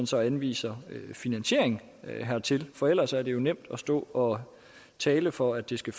så anvise finansiering hertil for ellers er det nemt at stå og tale for at det skal